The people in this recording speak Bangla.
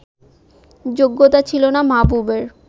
যোগ্যতা ছিল না মাহবুবের